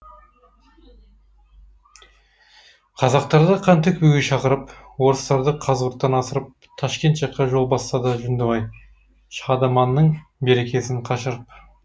қазақтарды қан төкпеуге шақырып орыстарды қазығұрттан асырып ташкент жаққа жол бастады жүндібай шадыманның берекесін қашырып